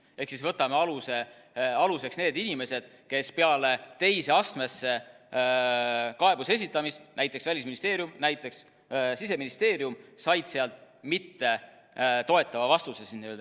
Ehk siis võtame aluseks need inimesed, kes peale teise astmesse kaebuse esitamist, näiteks Välisministeeriumi, näiteks Siseministeeriumi, said sealt mittetoetava vastuse.